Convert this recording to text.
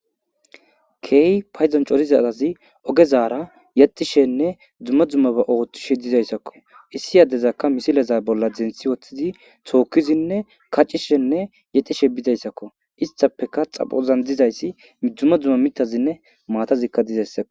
Key payzan corizaazi ogezaara yaxishenne dzumma dzumma ba ooththishe dizayssakko issi yaddezakka misileza bolla denthi woththidi tookkizinne kaccishenne yaxishe bidayssakko istapeka xapozan dizayssi midzuma dzumma mitazinne maatazikka dizayssako.